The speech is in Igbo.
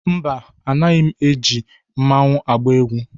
Mba, anaghị m eji mmanwu agba egwu.